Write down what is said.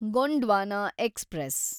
Gondwana express